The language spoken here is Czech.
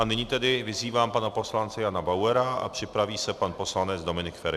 A nyní tedy vyzývám pana poslance Jana Bauera a připraví se pan poslanec Dominik Feri.